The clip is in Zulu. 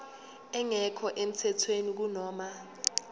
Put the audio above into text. engekho emthethweni kunoma